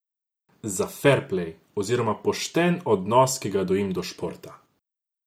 Za ferplej oziroma pošten odnos, ki ga gojim do športa.